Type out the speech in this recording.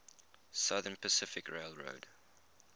southern pacific railroad